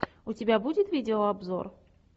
у тебя будет видеообзор